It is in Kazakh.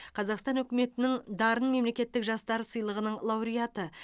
қазақстан үкіметінің дарын мемлекеттік жастар сыйлығының лауреаты